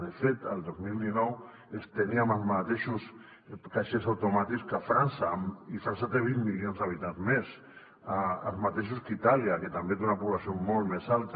de fet el dos mil dinou teníem els mateixos caixers automàtics que frança i frança té vint milions d’habitants més els mateixos que itàlia que també té una població molt més alta